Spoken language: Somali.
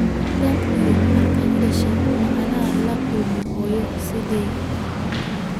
Tan iyo markii aan dhashay, ma aanan la kulmin hooyo sidaada ah